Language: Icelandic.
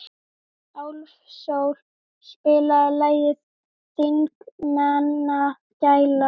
Álfsól, spilaðu lagið „Þingmannagæla“.